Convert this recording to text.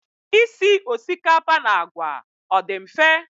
Isi osikapa na àgwà, ọ dị mfe?